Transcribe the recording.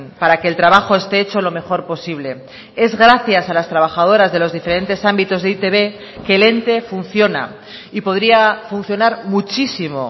para que el trabajo este hecho lo mejor posible es gracias a las trabajadoras de los diferentes ámbitos de e i te be que el ente funciona y podría funcionar muchísimo